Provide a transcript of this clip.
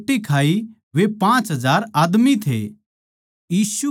जिन नै रोट्टी खाई वे पाँच हजार आदमी थे